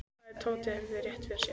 Hvað ef Tóti hefði rétt fyrir sér?